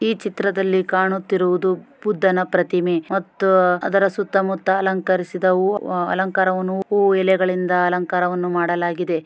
ಈ ಚಿತ್ರದಲ್ಲಿ ಕಾಣುತ್ತಿರುವುದು ಬುದ್ಧನ ಪ್ರತಿಮೆ ಮತ್ತು ಅದರ ಸುತ್ತಮುತ್ತ ಅಲಂಕರಿಸುವ ಹೂ ಅಲಂಕರ ಹೂ ಎಲೆಗಳಿಂದ ಅಲಂಕರವನ್ನು ಮಾಡಲಾಗಿದೆ